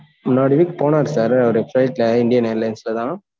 முன்னாடி week போனாரு sir அவரு flight ல, Indian airlines லதான்